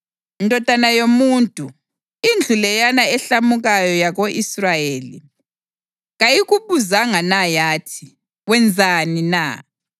“Ndodana yomuntu, indlu leyana ehlamukayo yako-Israyeli kayikubuzanga na yathi, ‘Wenzani na?’